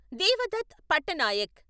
Devdutt Pattanaik